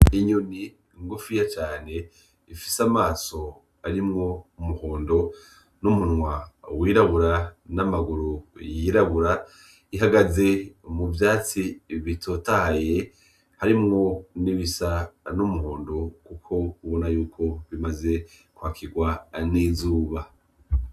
Inyoni ngufinya cane ifise amaso arimwo umuhondo, umunwa wirabura n'amaguru y'irabura ihagaze muvyatsi bitotahaye harimwo n'ibisa n'umuhondo kuko ubona ko bimaze kw'akirwa n'izuba.